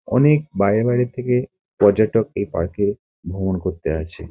অনেক বাইরে বাইরে থেকে পর্যটক এই পার্ক -এ ভ্রমণ করতে আসে।